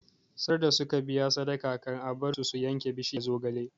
Sarda suka biya sadaka can a bar su su yanke bishiyar zogale